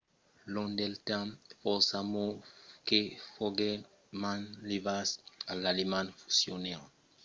long del temps fòrça mots que foguèron manlevats a l’alemand fusionèron. foguèt lo començament de las luses